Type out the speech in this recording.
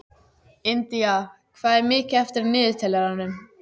Indía, hvað er mikið eftir af niðurteljaranum?